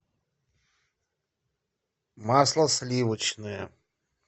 масло сливочное